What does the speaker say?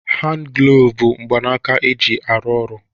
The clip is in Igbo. Handi glovu bụ mgbanaka e ji arụ oru